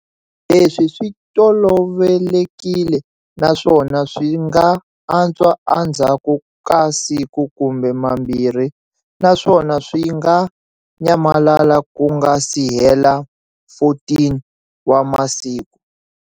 Leswi swi tolovelekile naswona swi nga antswa endzhaku ka siku kumbe mambirhi naswona swi nga nyamalala ku nga si hela 14 wa masiku.